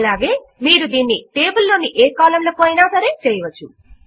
అలాగే మీరు దీనిని టేబుల్ లోని ఏ కాలమ్ లకు అయినా సరే చేయవచ్చు